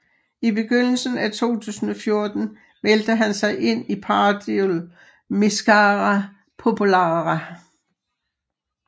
I begyndelsen af 2014 meldte han sig ind i Partidul Mișcarea Populară